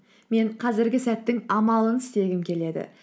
мен қазіргі сәттің амалын істегім келеді